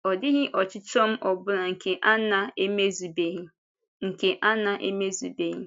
Ọ dịghị ọchịchọ m ọ bụla nke a na-emezubeghị. nke a na-emezubeghị.